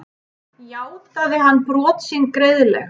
Játaði hann brot sín greiðlega